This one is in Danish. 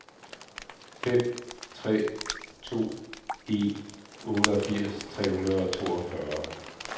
fem tre to en otteogfirs tre hundrede og toogfyrre